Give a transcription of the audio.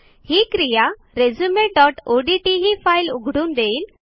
ही क्रिया resumeओडीटी ही फाईल उघडून देईल